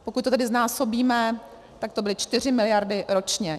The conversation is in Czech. Pokud to tedy znásobíme, tak to byly 4 miliardy ročně.